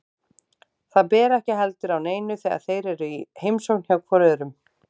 Það ber ekki heldur á neinu þegar þeir eru í heimsókn hvor hjá öðrum.